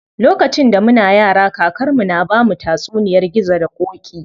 Lokacin da muna yara, kakar mu na bamu tatsuniyar gizo da ƙoƙi.